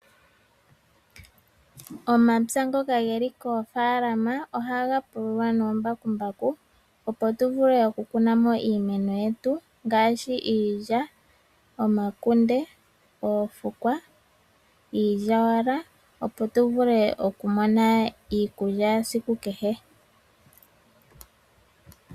Omapya ngoka ge li koofaalama ohaga pululwa noombakumbaku opo tu vule oku kunamo iimeno yetu ngaashi iilya, omakunde, oofukwa, iilyawala opo tu vule okumona iikulya esiku kehe.